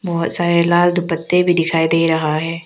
बहौत सारे लाल दुपट्टे भी दिखाई दे रहा है।